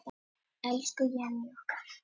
Elsku Jenni okkar.